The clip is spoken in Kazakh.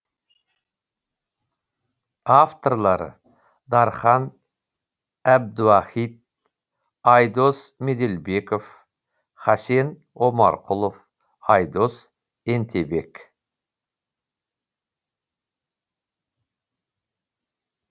авторлары дархан әбдуахит айдос меделбеков хасен омарқұлов айдос ентебек